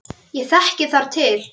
Ég þekki þar til.